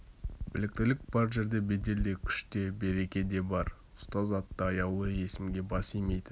біліктілік бар жерде бедел де күш те береке де бар ұстаз атты аяулы есімге бас имейтін